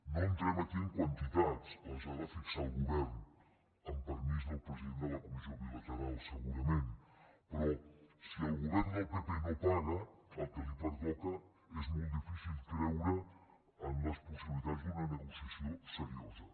no entrem aquí en quantitats les ha de fixar el govern amb permís del president de la comissió bilateral segurament però si el govern del pp no paga el que li pertoca és molt difícil creure en les possibilitats d’una negociació seriosa